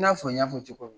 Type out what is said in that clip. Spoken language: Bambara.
I n'a fɔ n y'a fɔ cogo min